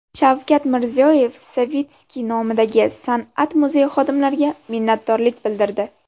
Shavkat Mirziyoyev Savitskiy nomidagi san’at muzeyi xodimlariga minnatdorlik bildirdi.